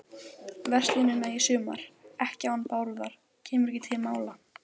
verslunina í sumar, ekki án Bárðar, kemur ekki til mála.